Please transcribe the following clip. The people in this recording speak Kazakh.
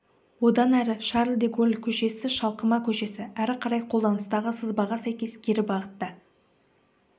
одан әрі шарль де голль көшесі шалқыма көшесі әрі қарай қолданыстағы сызбаға сәйкес кері бағытта